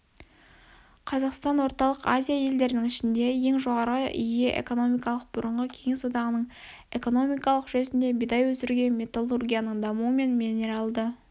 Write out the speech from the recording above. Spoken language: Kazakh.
қазақстан орталық азия елдерінің ішінде ең жоғары ие экономикалық бұрынғы кеңес одағының экономикалық жүйесінде бидай өсіруге металлургияның дамуы мен минералды